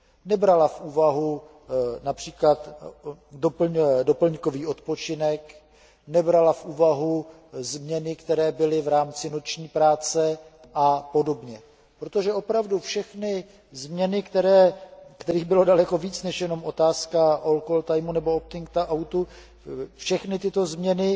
Nebrala v úvahu například doplňkový odpočinek, nebrala v úvahu změny, které byly v rámci noční práce apod. Protože opravdu všechny změny, kterých bylo daleko víc než jenom otázka on call time nebo opting outu, všechny tyto změny